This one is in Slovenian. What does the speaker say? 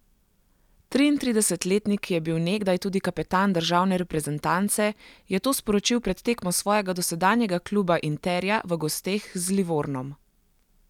Triintridesetletnik, ki je bil nekdaj tudi kapetan državne reprezentance, je to sporočil pred tekmo svojega dosedanjega kluba Interja v gosteh z Livornom.